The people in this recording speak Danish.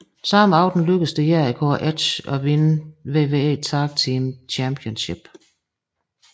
Samme aften lykkedes det Jericho og Edge at vinde WWE Tag Team Championship